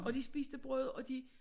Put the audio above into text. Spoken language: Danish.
Og de spiste brød og de